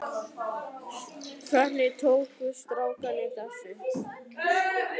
Hvernig tóku strákarnir þessu?